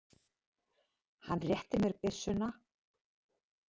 Hann rétti mér byssuna.